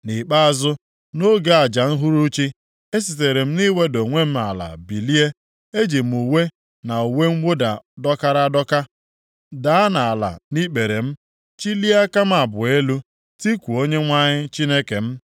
Nʼikpeazụ, nʼoge aja uhuruchi, esitere m nʼiweda onwe m ala bilie, eji m uwe na uwe mwụda dọkara adọka daa nʼala nʼikpere m, chilie aka m abụọ elu, tikuo Onyenwe anyị Chineke m